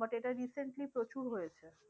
but এটা recently প্রচুর হয়েছে।